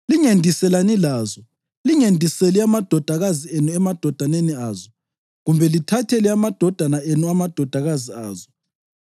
Lingendiselani lazo. Lingendiseli amadodakazi enu emadodaneni azo, kumbe lithathele amadodana enu amadodakazi azo,